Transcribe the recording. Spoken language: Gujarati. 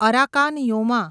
Arakan Yoma